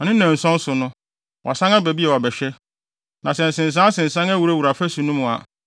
na ne nnanson so no, wasan aba bio abɛhwɛ. Na sɛ nsensansensan awurawura afasu no mu a,